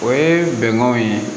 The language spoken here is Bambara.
O ye bɛnkanw ye